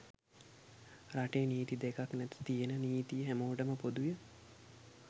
රටේ නීති දෙකක් නැත තියෙන නිතිය හැමෝටම පොදුය.